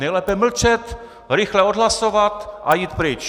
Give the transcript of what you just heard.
Nejlépe mlčet, rychle odhlasovat a jít pryč!